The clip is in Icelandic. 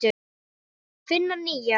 Finna nýjar.